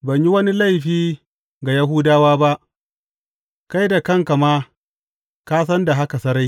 Ban yi wani laifi ga Yahudawa ba, kai da kanka ma ka san da haka sarai.